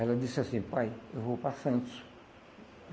Ela disse assim, pai, eu vou para Santos.